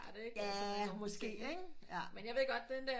Måske ikke men jeg ved godt den der